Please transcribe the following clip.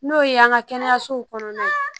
N'o ye an ka kɛnɛyasow kɔnɔna ye